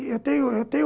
Eu tenho, eu tenho